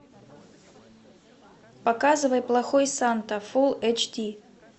показывай плохой санта фулл эйч ди